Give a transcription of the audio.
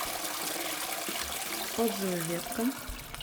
отзывы ветка